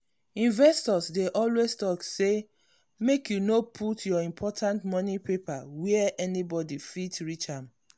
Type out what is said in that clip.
investors dey always talk say make you no put your important money paper where anybody fit reach am.